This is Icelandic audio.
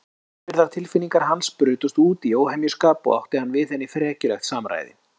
Innibyrgðar tilfinningar hans brutust út í óhemjuskap og átti hann við henni frekjulegt samræði.